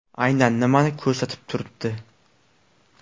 Aynan nimani ko‘rsatib turibdi?